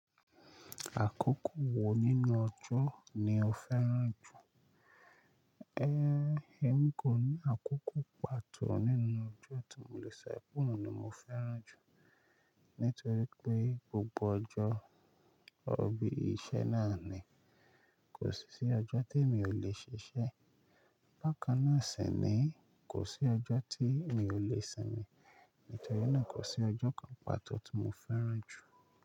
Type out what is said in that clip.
Àkókò wo nínú ọjọ́ ni o fẹ́ràn jù? Ehn, èmi kò ní àkókò pàtó nínú ọjọ́ tí mo le sọ pé òun ni mo fẹ́ràn jù, nítorí pé gbogbo ọjọ́, orọbí iṣẹ́ náà ni. Kò sí sí ọjọ́ tí èmi ò le ṣiṣẹ́. Bákannáà sì ni, kò sí ọjọ́ tí mi ò le sinmi. Nítorí náà kò sí ọjọ́ kan pàtó tí mo fẹ́ràn jù.